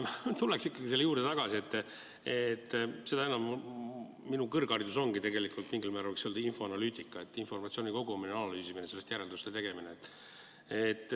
Tuleks ikkagi selle juurde tagasi, seda enam, et minu kõrgharidus ongi tegelikult mingil määral infoanalüütika: informatsiooni kogumine, analüüsimine, sellest järelduste tegemine.